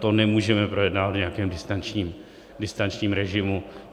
To nemůžeme projednávat v nějakém distančním režimu.